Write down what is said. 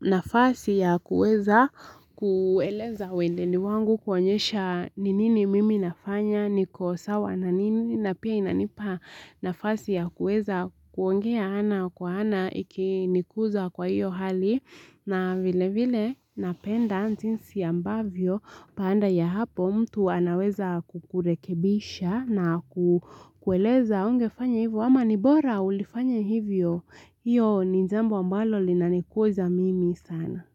nafasi ya kuweza kueleza welendi ni wangu kuonyesha n inini mimi nafanya niko sawa na nini na pia inanipa nafasi ya kuweza kuongea ana kwa ana ikinikuza kwa hiyo hali. Na vilevile napenda jinsi ambavyo baada ya hapo mtu anaweza kukurekebisha na kukueleza hungefanya hivyo ama nibora ulifanya hivyo iyo ni jambo ambalo linanikuza mimi sana.